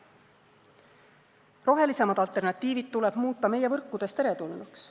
Rohelisemad alternatiivid tuleb muuta meie võrkudes teretulnuks.